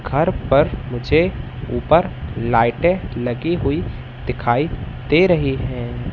घर पर मुझे ऊपर लाइटे लगी हुई दिखाई दे रही है।